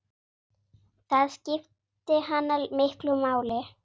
Það skipti hana miklu máli.